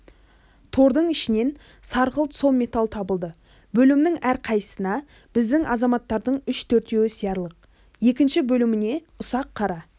тордың ішінен сарғылт сом металл табылды бөлімнің әрқайсысына біздің азаматтардың үшеу-төртеуі сиярлық екінші бөліміне ұсақ қара